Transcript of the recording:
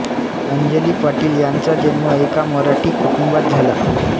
अंजली पाटील यांचा जन्म एका मराठी कुटुंबात झाला